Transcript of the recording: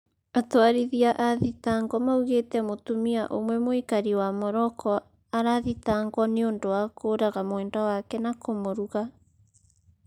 Atwarithia a thitango maugĩte mũtumia umwe mũikari wa morocco arathitangwo niũndũ wa kũraga mwendwa wake na kũmũruga